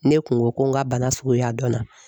Ne kun ko ko n ka bana suguya dɔnna .